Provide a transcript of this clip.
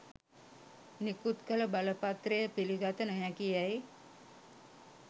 නිකුත් කළ බලපත්‍රය පිළිගත නොහැකියැයි